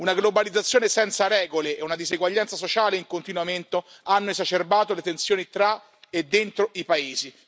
Una globalizzazione senza regole e una diseguaglianza sociale in continuo amento hanno esacerbato le tensioni tra e dentro i paesi.